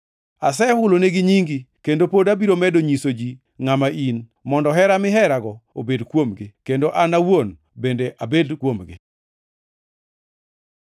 Asehulonegi nyingi, kendo pod abiro medo nyiso ji ngʼama in, mondo hera miherago obed kuomgi, kendo an awuon bende abed kuomgi.”